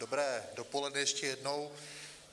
Dobré dopoledne ještě jednou.